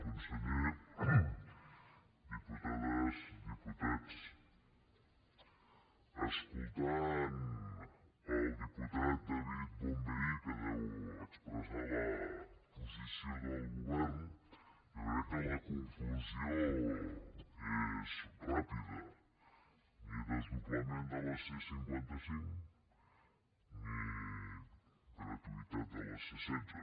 conseller diputades diputats escoltant el diputat david bonvehí que deu expressar la posició del govern jo crec que la conclusió és ràpida ni desdoblament de la c cinquanta cinc ni gratuïtat de la c setze